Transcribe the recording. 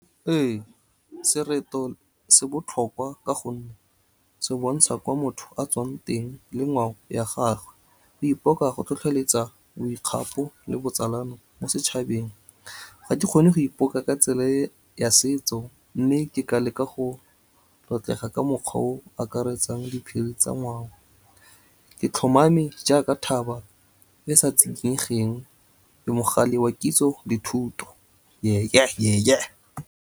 Ee, sereto se botlhokwa ka gonne, se bontsha kwa motho a tswang teng, le ngwao ya gagwe. O ipoka go tlhotlheletsa boikgapo le botsalano mo setšhabeng. Ga ke kgone go ipoka ka tsela e ya setso, mme ke ka leka go tlotlega ka mokgwa oo akaretsang diphiri tsa ngwao. Ke tlhomame jaaka thaba, e sa tsikinyegeng ke mogale wa kitso le thuto ye-ye, ye-ye.